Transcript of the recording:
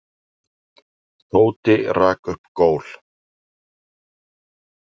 Tóti rak upp gól.